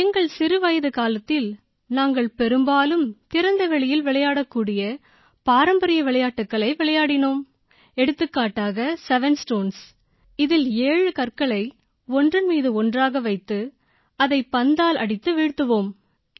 எங்கள் சிறிய வயதுக்காலத்தில் நாங்கள் பெரும்பாலும் திறந்தவெளியில் விளையாடக்கூடிய பாரம்பரிய விளையாட்டுகளை விளையாடினோம் எடுத்துக்காட்டாக 7 ஸ்டோன்ஸ் 7stones இதில் 7 கற்களை ஒன்றன்மீது ஒன்றாக வைத்து அதை பந்தால் அடித்து வீழ்த்துவோம்